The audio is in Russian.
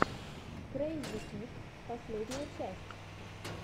крэйзипит последняя часть